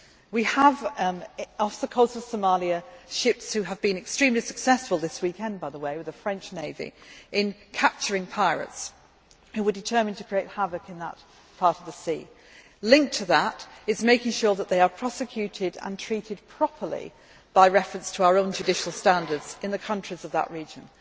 do. We have, off the coast of Somalia, ships which have been extremely successful this weekend, by the way, with the French navy in capturing pirates who were determined to create havoc in that part of the sea. Linked to that is making sure that they are prosecuted and treated properly by reference to our own judicial standards in the countries of that region.